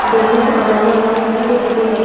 Bamboo से बनाने ला सीढ़ी दिखाई दे रहे।